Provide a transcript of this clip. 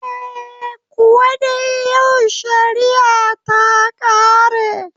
Eh, Kuwa dai yau shariya ta ƙare